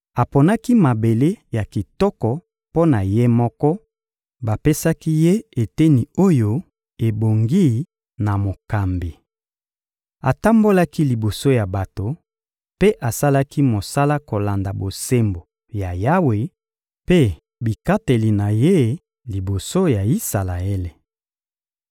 Aponaki mabele ya kitoko mpo na ye moko, bapesaki ye eteni oyo ebongi na mokambi. Atambolaki liboso ya bato; mpe asalaki mosala kolanda bosembo ya Yawe mpe bikateli na Ye liboso ya Isalaele.»